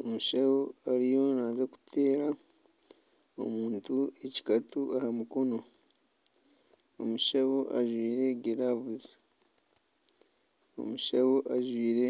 Omushaho ariyo naaza kuteera omuntu ekikato aha mukono. Omushaho ajwaire giravuzi. Omushaho ajwaire